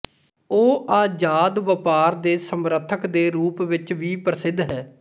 ਉਹ ਅਜ਼ਾਦ ਵਪਾਰ ਦੇ ਸਮਰਥਕ ਦੇ ਰੂਪ ਵਿੱਚ ਵੀ ਪ੍ਰਸਿੱਧ ਹੈ